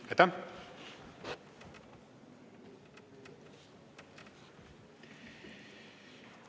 Aitäh!